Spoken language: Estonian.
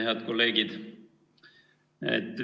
Head kolleegid!